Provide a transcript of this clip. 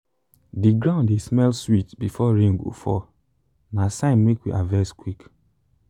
the ground dey smell sweet before rain go fall na sign make we harvest quick.